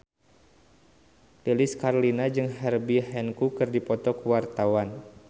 Lilis Karlina jeung Herbie Hancock keur dipoto ku wartawan